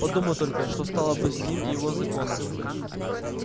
подумал только что стало бы с ним и его законом